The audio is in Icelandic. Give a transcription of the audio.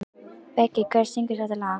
Beggi, hver syngur þetta lag?